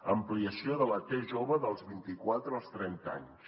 ampliació de la t jove dels vint i quatre als trenta anys